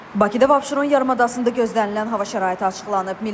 Bakıda və Abşeron yarımadasında gözlənilən hava şəraiti açıqlanıb.